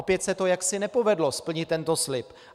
Opět se to jaksi nepovedlo, splnit tento slib.